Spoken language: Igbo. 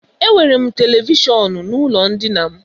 Ee, enwere m televishọnụ n'ụlọ ndina m.